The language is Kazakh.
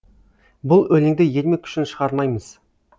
бұл өлеңді ермек үшін шығармаймыз